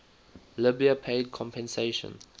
libya paid compensation